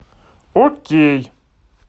окей